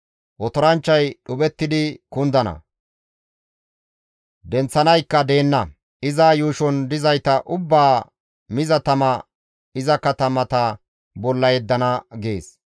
Otoranchchay dhuphettidi kundana; denththanaykka deenna; iza yuushon dizayta ubbaa miza tama iza katamata bolla yeddana» gees.